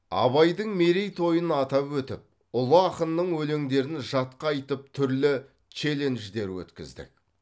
абайдың мерейтойын атап өтіп ұлы ақынның өлеңдерін жатқа айтып түрлі челлендждер өткіздік